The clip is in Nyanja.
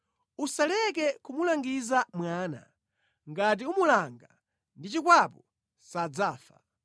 Usaleke kumulangiza mwana; ngati umulanga ndi chikwapu sadzafa.